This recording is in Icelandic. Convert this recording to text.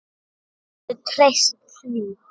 Þú getur treyst því.